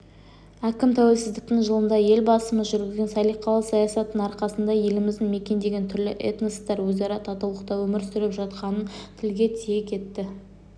әкім тәуелсіздіктің жылында елбасымыз жүргізген салиқалы саясаттың арқасында елімізді мекендеген түрлі этностар өзара татулықта өмір сүріп жатқанын тілге тиек етті